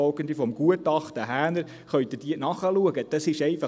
des Gutachtens Häner nachlesen.